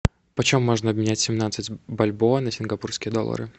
почем можно обменять семнадцать бальбоа на сингапурские доллары